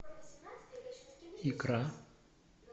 икра